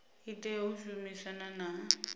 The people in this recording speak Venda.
i tea u shumisana na